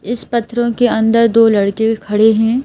इस पत्र के अंदर दो लड़के खड़े हैं।